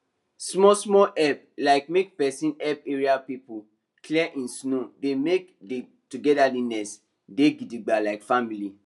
small small help like make person help area people clear him snow dey make the togetherness dey gidigba like family